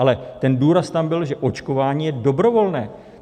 Ale ten důraz tam byl, že očkování je dobrovolné.